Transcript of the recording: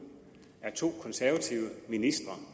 er to konservative ministre